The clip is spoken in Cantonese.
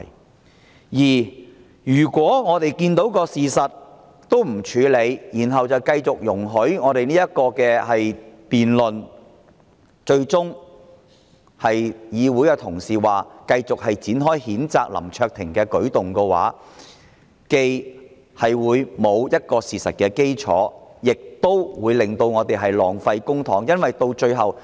第二，如果我們不理事實，然後繼續辯論，最終同意繼續展開譴責林卓廷議員，這舉動不但欠缺事實基礎，亦會浪費公帑。